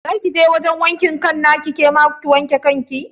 Za kije wajan wankin kan nata ke ma ki wanke kanki yau?